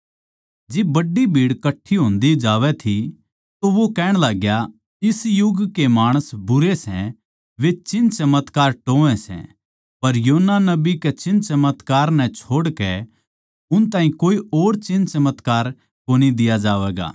जिब बड्डी भीड़ कठ्ठी होंदी जावै थी तो वो कहण लाग्या इस युग के माणस बुरे सै वे चिन्हचमत्कार टोह्वैं सै पर योना नबी के चिन्हचमत्कार नै छोड़ कै उन ताहीं कोए और चिन्हचमत्कार कोनी दिया जावैगा